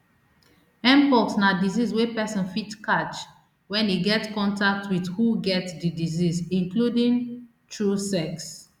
mpox na disease wey pesin fit catch wen e get contact wit who get di disease including through sex